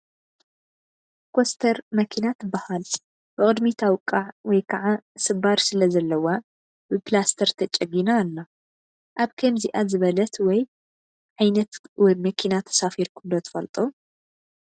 ኮስተር መኪና ትባሃል፡፡ ብቕድሚታ ውቃዕ ወይ ከዓ ስባር ስለዘለዋ ብኘላስተር ተጨጊና ኣላ፡፡ ኣብ ከምዚኣ ዝበለት ወይ ዓይነት መኪና ተሳፊርኩም ዶ ትፈልጡ?